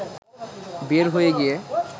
বের হয়ে গিয়ে